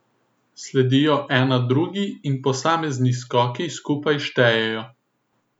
Sledijo ena drugi in posamezni skoki skupaj štejejo.